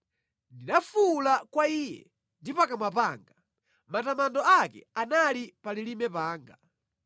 Ndinafuwula kwa Iye ndi pakamwa panga, matamando ake anali pa lilime panga.